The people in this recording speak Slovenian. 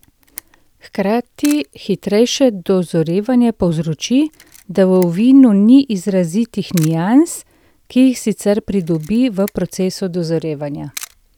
Hkrati hitrejše dozorevanje povzroči, da v vinu ni izrazitih nians, ki jih sicer pridobi v procesu dozorevanja.